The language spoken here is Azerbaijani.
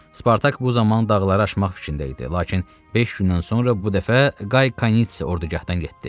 Spartak bu zaman dağları aşmaq fikrində idi, lakin beş gündən sonra bu dəfə Qay Kanitsi ordugahdan getdi.